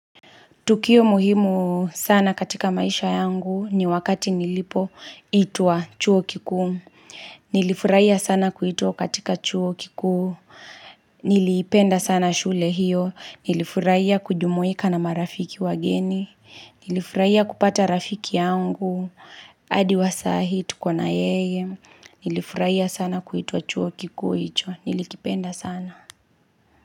Tukio muhimu sana katika maisha yangu ni wakati nilipoitwa chuo kikuu. Nilifuraia sana kuitwa katika chuo kikuu. Niliipenda sana shule hiyo. Nilifuraia kujumuika na marafiki wageni. Nilifuraiya kupata rafiki yangu. Adi wa saa hii hi tuko na yeye. Nilifuraia sana kuitwa chuo kikuu hicho. Nilikipenda sana.